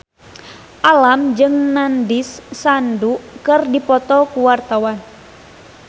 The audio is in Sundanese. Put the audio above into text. Alam jeung Nandish Sandhu keur dipoto ku wartawan